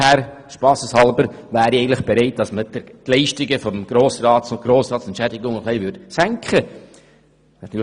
Vor daher wäre ich eigentlich bereit, dass man die Grossratsentschädigungen ein wenig senken würde.